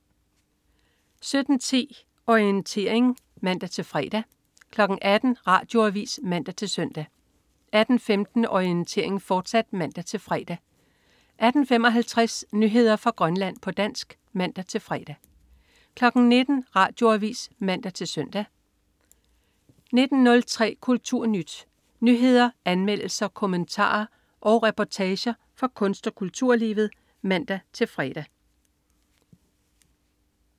17.10 Orientering (man-fre) 18.00 Radioavis (man-søn) 18.15 Orientering, fortsat (man-fre) 18.55 Nyheder fra Grønland, på dansk (man-fre) 19.00 Radioavis (man-søn) 19.03 KulturNyt. Nyheder, anmeldelser, kommentarer og reportager fra kunst- og kulturlivet (man-fre)